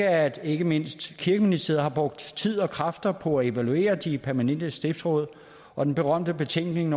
at ikke mindst kirkeministeriet har brugt tid og kræfter på at evaluere de permanente stiftsråd og den berømte betænkning